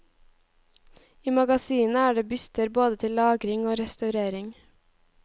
I magasinet er det byster både til lagring og restaurering.